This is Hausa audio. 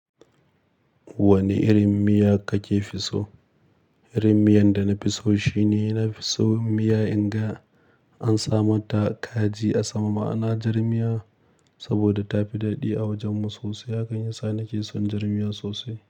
Wane irin miya kake fi so? Irin miyan da na fi so shine na fi so miya in ga an sama ta kaji a sama, ma'ana jar miya saboda ta fi daɗi a wajenmu sosai. Hakan yasa nake son jar miya sosai.